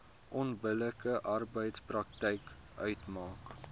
onbillike arbeidspraktyk uitmaak